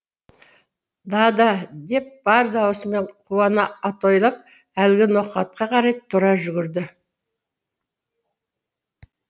дада деп бар даусымен қуана атойлап әлгі ноқатқа қарай тұра жүгірді